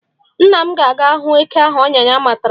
Nna m ga-aga hụ eke ahụ ọnya ya matara.